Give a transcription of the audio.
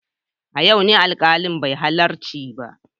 A yau ne alkalin bai halarci ba.